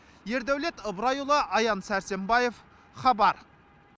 ердаулет ыбырайұлы аян сәрсенбайев хабар